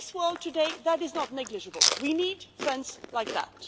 And in this world today that is not negligible we need friends like that.